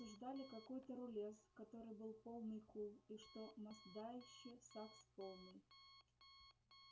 они обсуждали какой-то рулез который был полный кул и что мастдаище сакс полный